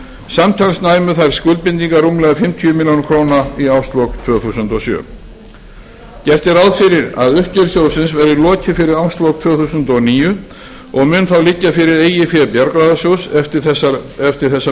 samtals næmu þær skuldbindingar rúmlega fimmtíu milljónir króna í árslok tvö þúsund og sjö gert er ráð fyrir að uppgjör sjóðsins verði lokið fyrir árslok tvö þúsund og níu og mun þá liggja fyrir eigin fé bjargráðasjóðs eftir þessa